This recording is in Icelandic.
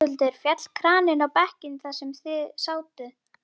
Höskuldur: Féll kraninn á bekkinn þar sem þið sátuð?